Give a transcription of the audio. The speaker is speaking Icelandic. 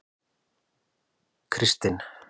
Kristin